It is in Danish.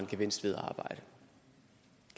gevinst ved